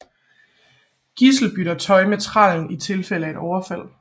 Gisle bytter tøj med trællen i tilfælde af et overfald